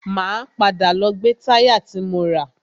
Máa padà lọ gbe táyà ti mo rà.